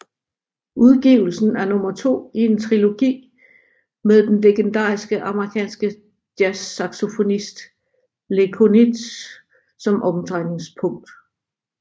Udgivelsen er nummer to i en trilogi med den legendariske amerikanske jazzsaxofonist Lee Konitz som omdrejningspunkt